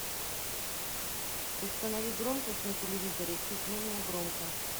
установи громкость на телевизоре чуть менее громко